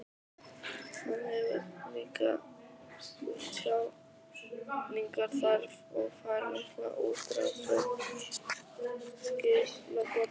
Hann hefur ríka tjáningarþörf og fær mikla útrás við skrifborðið.